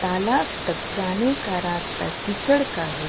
तालाब तक जाने का रास्ता कीचड़ का है।